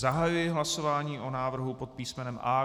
Zahajuji hlasování o návrhu pod písmenem A.